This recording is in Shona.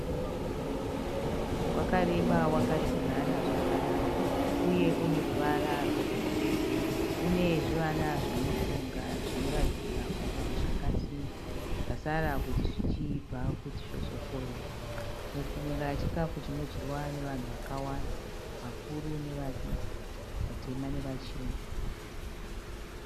Mupunga uri mudoro, wakareba wakadzinana zvakanaka uye une ruvara rwe girinhi. Une zvivana zvemupunga zvinoratidza kuti zvakasimba. Zvasara kuti zvichiibva kuti zvozokohwewa. Mupunga chikafu chinodyiwa nevanhu vakawanda. Vakuru nevadiki, vatema nevachena.